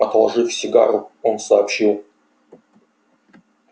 отложив сигару он сообщил